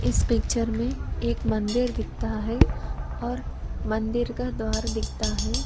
इस पिक्चर में एक मंदिर दिखता है और मंदिर का द्वार दिखता है।